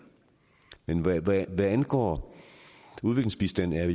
men hvad angår udviklingsbistanden er